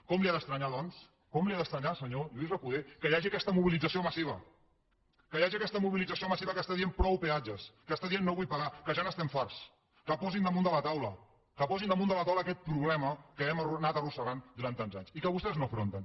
com li ha d’estranyar doncs com li ha d’estranyar senyor lluís recoder que hi hagi aquesta mobilització massiva que hi hagi aquesta mobilització massiva que està dient prou peatges que està dient no vull pagar que ja n’estem farts que ho posin damunt de la taula que posin damunt de la taula aquest problema que hem anat arrossegant durant tants anys i que vostès no afronten